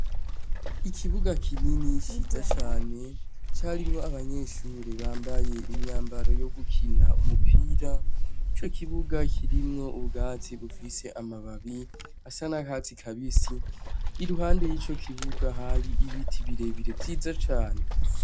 Ikibuga kinini ciza cane c’abanyeshure bambaye imyambaro yo gukina umupira ico kibuga kirimwo ubwatsi bufise amababi asa nakatsi kabisi iruhande yico kibuga hari ibiti birebire vyiza cane.